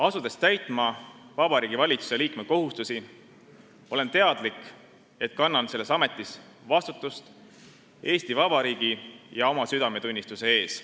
Asudes täitma Vabariigi Valitsuse liikme kohustusi, olen teadlik, et kannan selles ametis vastutust Eesti Vabariigi ja oma südametunnistuse ees.